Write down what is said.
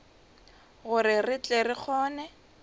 gore re tle re kgone